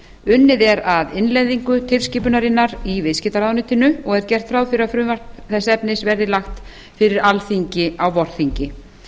unnið er að innleiðingu tilskipunarinnar í viðskiptaráðuneytinu og er gert ráð fyrir að frumvarp þess efnis verði lagt fyrir alþingi á vorþingi